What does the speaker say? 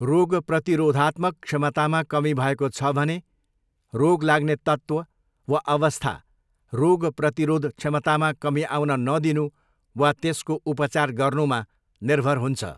रोग प्रतिरोधात्मक क्षमतामा कमी भएको छ भने रोग लाग्ने तत्त्व वा अवस्था रोग प्रतिरोध क्षमतामा कमी आउन नदिनु वा त्यसको उपचार गर्नुमा निर्भर हुन्छ।